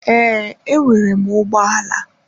Ee, enwere m ụgbọ ala.